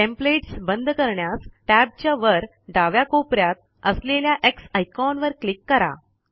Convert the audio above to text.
templates बंद करण्यास tab च्या वर डाव्या कोपऱ्यात असलेल्या एक्स आयकॉन वर क्लिक करा